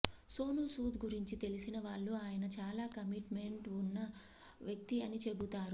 సోనూ సూద్ గురించి తెలిసినవాళ్లు ఆయన చాలా కమిట్ మెంట్ వున్న వ్యక్తి అని చెబుతారు